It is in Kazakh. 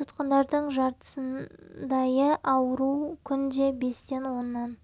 тұтқындардың жартысындайы ауру күнде бестен оннан